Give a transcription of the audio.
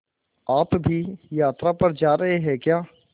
आप भी यात्रा पर जा रहे हैं क्या